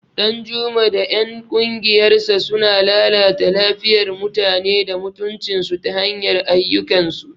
Danjuma da ‘yan kungiyarsa suna lalata lafiyar mutane da mutuncinsu ta hanyar ayyukansu.